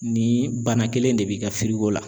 Ni bana kelen de b'i ka la